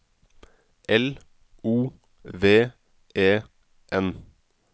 L O V E N